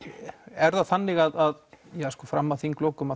er það þannig að fram að þinglokum